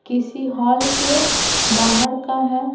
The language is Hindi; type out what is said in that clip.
किसी हॉल के बाहर का है ।